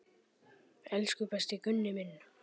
Elsku besti Gunni minn.